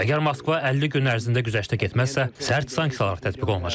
Əgər Moskva 50 gün ərzində güzəştə getməzsə, sərt sanksiyalar tətbiq olunacaq.